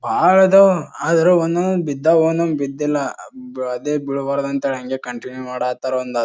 ವಾರದ ಆದ್ರೆ ಒಂದೊಂದ್ ಬಿದ್ದವ ಒಂದೊಂದ್ ಬಿದ್ದಿಲ್ಲ ಅದೇ ಬೀಳ್ಬಾರದು ಅಂತ ಹಂಗೆ ಕಂಟಿನ್ಯೂ ಮಾಡಕ್ ಹತ್ತರ ಒಂದ್--